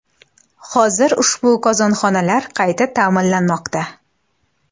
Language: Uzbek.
Hozir ushbu qozonxonalar qayta ta’mirlanmoqda”.